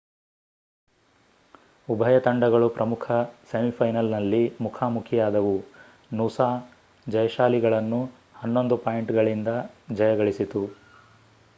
ಉಭಯ ತಂಡಗಳು ಪ್ರಮುಖ ಸೆಮಿಫೈನಲ್‌ನಲ್ಲಿ ಮುಖಾಮುಖಿಯಾದವು ನೂಸಾ ಜಯಶಾಲಿಗಳನ್ನು11 ಪಾಯಿಂಟ್‌ಗಳಿಂದ ಜಯಗಳಿಸಿತು